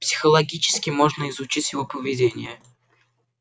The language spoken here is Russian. психологически можно изучить его поведение